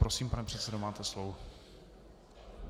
Prosím, pane předsedo, máte slovo.